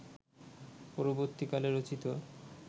পরবর্তীকালে রচিত